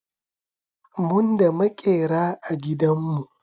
Mun da Maƙera a dangin mu